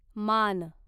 मान